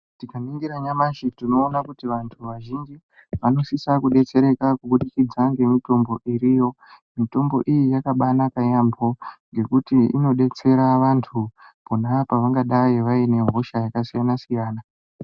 Tikaningira nyamashi tinoona kuti vantu vazhinji vanosisa kubetsereka kubudikidza ngemutombo iriyo. Mitombo iyi yakabanaka yaambo ngekuti inobetsera antu pona pavangadai vaine hosha yakasiyana-siyana.